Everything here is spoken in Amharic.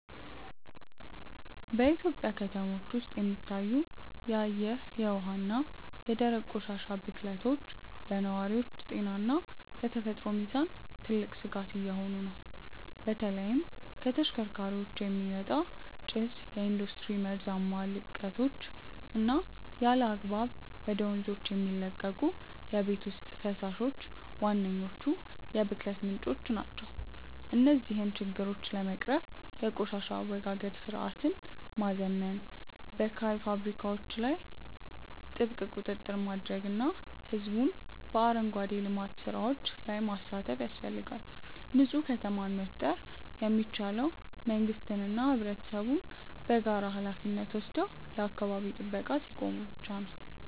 በኢትዮጵያ ከተሞች ውስጥ የሚታዩት የአየር፣ የውሃ እና የደረቅ ቆሻሻ ብክለቶች ለነዋሪዎች ጤና እና ለተፈጥሮ ሚዛን ትልቅ ስጋት እየሆኑ ነው። በተለይም ከተሽከርካሪዎች የሚወጣ ጭስ፣ የኢንዱስትሪ መርዛማ ልቀቶች እና ያለአግባብ ወደ ወንዞች የሚለቀቁ የቤት ውስጥ ፈሳሾች ዋነኞቹ የብክለት ምንጮች ናቸው። እነዚህን ችግሮች ለመቅረፍ የቆሻሻ አወጋገድ ስርዓትን ማዘመን፣ በካይ ፋብሪካዎች ላይ ጥብቅ ቁጥጥር ማድረግ እና ህዝቡን በአረንጓዴ ልማት ስራዎች ላይ ማሳተፍ ያስፈልጋል። ንፁህ ከተማን መፍጠር የሚቻለው መንግስትና ህብረተሰቡ በጋራ ሃላፊነት ወስደው ለአካባቢ ጥበቃ ሲቆሙ ብቻ ነው።